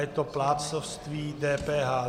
Je to plátcovství DPH.